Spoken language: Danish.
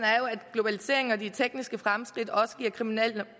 globaliseringen og de tekniske fremskridt også giver kriminelle